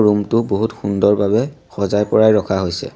Room টো বহুত সুন্দৰভাৱে সজাই-পৰাই ৰখা হৈছে।